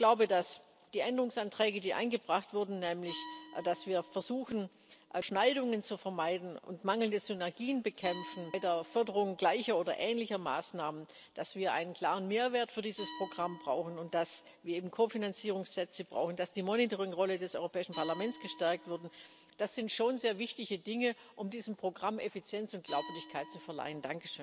Ich glaube, dass die Änderungsanträge, die eingebracht wurden, nämlich dass wir versuchen, Überschneidungen zu vermeiden und mangelnde Synergien bei der Förderung gleicher oder ähnlicher Maßnahmen zu bekämpfen, dass wir einen klaren Mehrwert für dieses Programm brauchen und dass wir eben Kofinanzierungssätze brauchen, dass die Monitoring Rolle des Europäischen Parlaments gestärkt wurde Das sind schon sehr wichtige Dinge, um diesem Programm Effizienz und Glaubwürdigkeit zu verleihen.